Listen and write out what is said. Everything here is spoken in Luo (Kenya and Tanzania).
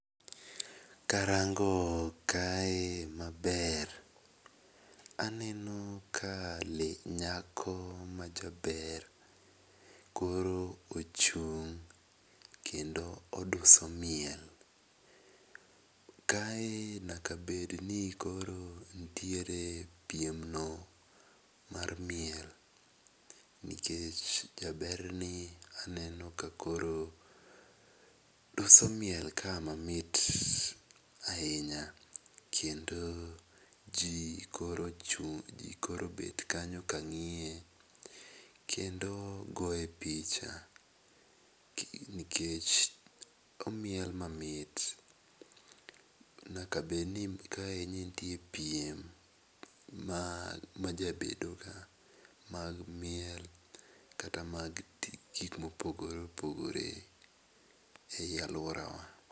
Karango kae maber, aneno ka le nyako majaber koro ochung' kendo oduso miel. Kae nyakabed ni koro nitiere piem no mar miel nikech jaberni aneno ka koro duso miel ka mamit ahinya kendo ji koro ochung' ji koro obet kanyo ka ng'iye kendo goye picha nikech omiel mamit. Nyaka bed ni kae nitie piem majabedoga ka mag miel kata mag gik mopogore opogore ei aluorawa